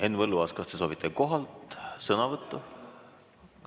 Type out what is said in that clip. Henn Põlluaas, kas te soovite kohalt sõnavõtu?